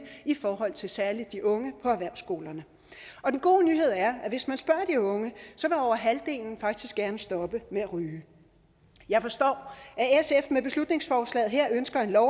i forhold til særlig de unge på erhvervsskolerne den gode nyhed er at hvis man spørger de unge så vil over halvdelen faktisk gerne stoppe med at ryge jeg forstår at sf med beslutningsforslaget her ønsker en lov